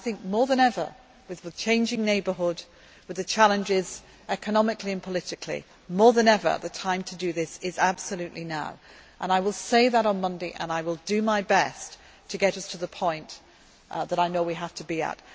possible. More than ever with the changing neighbourhood and the challenges economically and politically the time to do this is absolutely now. I will say that on Monday, and I will do my best to get us to the point that I know we have